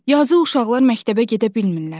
Yazıq uşaqlar məktəbə gedə bilmirlər.